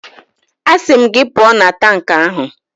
Asị m gị, pụọ na tankị ahụ!